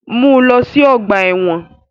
Mu u lọ si ọgba ẹ́wọ̀n!